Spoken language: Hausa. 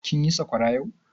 Kin yi sakwara yau?